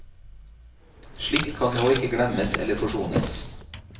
Slikt kan nå ikke glemmes eller forsones.